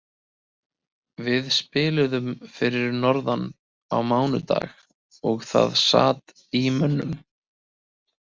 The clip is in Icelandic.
Við spiluðum fyrir norðan á mánudag og það sat í mönnum.